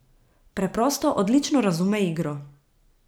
Preprosto odlično razume igro.